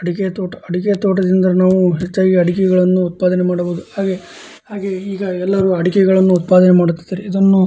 ಅಡಿಕೆ ತೊಟ ಅಡಿಕೆ ತೋಟ ದಿಂದ ನಾವು ಹೆಚ್ಚಾಗಿ ಅಡಿಕೆಗಳನ್ನು ಉತ್ಪಾದನೆ ಮಾಡ್ಬಹುದು ಹಾಗೆ ಹಾಗೆ ಈಗ ಎಲ್ಲರು ಅಡಿಕೆಗಳನ್ನು ಉತ್ಪಾದನೆ ಮಾಡುತ್ತಿದ್ದಾರೆ ಇದನ್ನು --